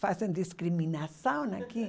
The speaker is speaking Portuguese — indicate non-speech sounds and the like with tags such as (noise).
Fazem discriminação aqui (laughs)